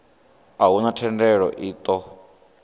a huna thendelo i ṱo